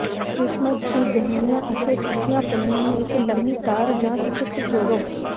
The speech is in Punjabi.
ਕ੍ਰਿਸਮਸ ਟ੍ਰੀ ਗਹਿਣਿਆਂ ਅਤੇ ਸੁੱਕੀਆਂ ਫਲੀਆਂ ਨੂੰ ਇੱਕ ਲੰਮੀ ਤਾਰ ਜਾਂ ਸਟਿਕਸ ਜੋੜੋ